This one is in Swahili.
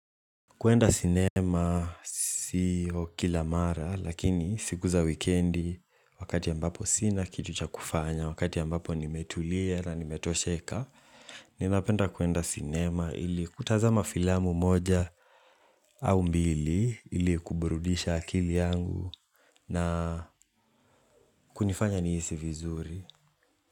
Kuenda cinema si kila mara lakini siku za wikendi wakati ambapo sina kitu cha kufanya wakati ambapo nimetulia na nimetosheka Ninapenda kuenda cinema ili kutazama filamu moja au mbili ili kuburudisha akili yangu na kunifanya nihisi vizuri.